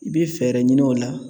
I bɛ fɛɛrɛ ɲini o la